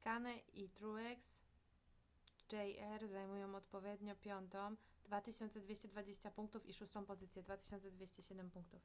kahne i truex jr. zajmują odpowiednio piątą 2220 punktów i szóstą pozycję 2207 punktów